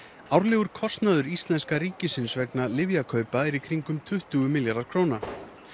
árlegur kostnaður íslenska ríkisins vegna lyfjakaupa er í kringum tuttugu milljarðar króna